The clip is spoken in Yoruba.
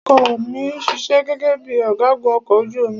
Ọkọ ọ̀ mi ṣiṣẹ́ gẹ́gẹ́ bíi ọ̀gágun ọkọ̀ ojú omi.